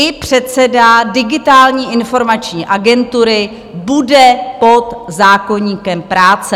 I předseda Digitální informační agentury bude pod zákoníkem práce.